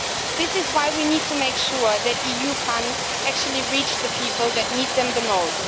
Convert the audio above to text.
This is why we need to make sure that EU funds actually reach the people that need them the most.